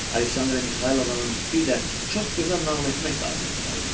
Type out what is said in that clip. Aleksandra Mixaylovnanın bir də çox gözəl nəql etmək qabiliyyəti var idi.